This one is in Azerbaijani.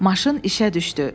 Maşın işə düşdü.